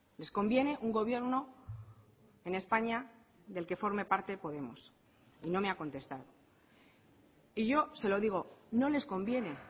les conviene un gobierno en españa del que forme parte podemos y no me ha contestado y yo se lo digo no les conviene